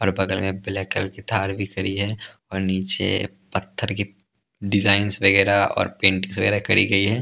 और बगल में ब्लैक कलर की थार भी खड़ी है और नीचे पत्थर के डिजाइंस वगैरह और पेंटिंग वगैरह करी गई है ।